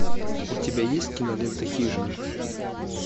у тебя есть кинолента хижина